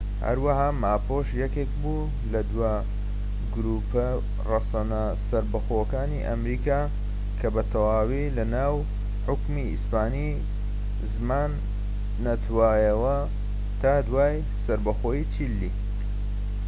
هەروەها ماپوش یەکێک بوو لە دوا گروپە ڕەسەنە سەربەخۆکانی ئەمریکا، کە بەتەواوی لە ناو حوکمی ئیسپانی زمان نەتوایەوە تا دوای سەربەخۆیی چیلی‎